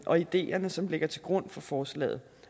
og ideerne som ligger til grund for forslaget